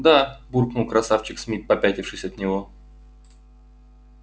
да буркнул красавчик смит попятившись от него